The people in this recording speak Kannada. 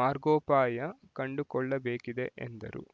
ಮಾರ್ಗೋಪಾಯ ಕಂಡುಕೊಳ್ಳಬೇಕಿದೆ ಎಂದರು